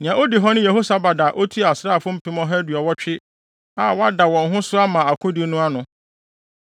Nea odi hɔ ne Yehosabad a otua asraafo mpem ɔha aduɔwɔtwe (180,000) a wɔada wɔn ho so ama akodi no ano.